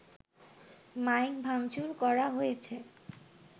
mic ভাংচুর করা হয়েছে